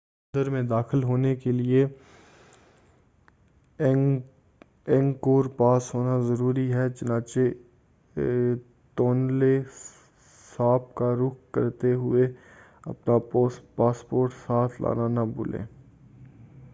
مندر میں داخل ہونے کے لئے اینگکور پاس ضروری ہے چنانچہ تونلے ساپ کا رخ کرتے ہوئے اپنا پاسپورٹ ساتھ لانا نہ بھولیں